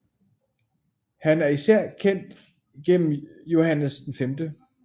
Han er især kendt gennem Johannes V